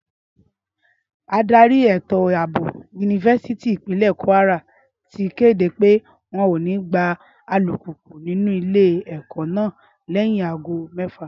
Ádárì ètò àbò yunifásítì Ìpínlẹ̀ Kwara ti kéde pé wọn ò ní gbà alùpùpù nínú Ilé-ẹ̀kọ́ náà lẹ́yìn aago mẹ́fà